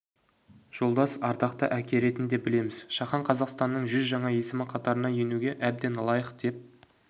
жолдас ардақты әке ретінде білеміз шахан қазақстанның жүз жаңа есімі қатарына енуге әбден лайық деп